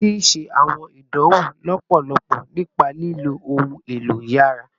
Ti ṣe awọn idanwo lọpọlọpọ nipa lilo ohun elo yàrá